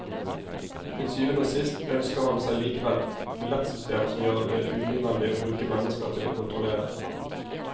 Til syvende og sist ønsker han seg likevel billettsystem som gjør det unødvendig å bruke mennesker til å kontrollere.